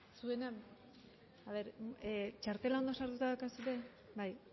txartela ondo sartuta daukazue bai